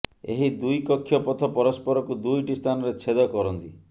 ଏହି ଦୁଇ କକ୍ଷ ପଥ ପରସ୍ପରକୁ ଦୁଇଟି ସ୍ଥାନରେ ଛେଦ କରନ୍ତି